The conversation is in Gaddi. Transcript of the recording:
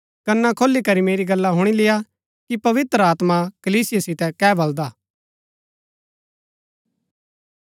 कना खोली करी मेरी गल्ला हुणी लेय्आ कि पवित्र आत्मा कलीसिया सीतै कै बलदा